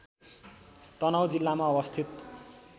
तनहुँ जिल्लामा अवस्थित